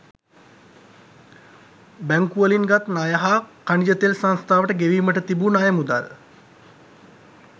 බැංකුවලින් ගත් ණය හා ඛනිජ තෙල් සංස්ථාවට ගෙවීමට තිබූ ණය මුදල්